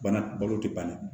Bana balo tɛ ban dɛ